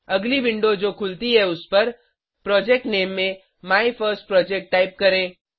अगली विंडो जो खुलती है उसपर प्रोजेक्ट नामे में माइफर्स्टप्रोजेक्ट टाइप करें